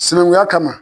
Sinankunya kama